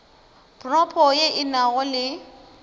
propo ye e nago le